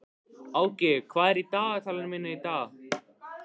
Áki, hvað er í dagatalinu mínu í dag?